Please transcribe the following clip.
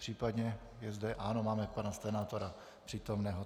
Případně je zde... ano, máme pana senátora přítomného.